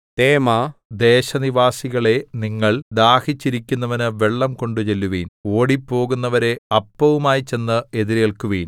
തേമാദേശനിവാസികളേ നിങ്ങൾ ദാഹിച്ചിരിക്കുന്നവനു വെള്ളം കൊണ്ടുചെല്ലുവിൻ ഓടിപ്പോകുന്നവരെ അപ്പവുമായി ചെന്ന് എതിരേല്ക്കുവിൻ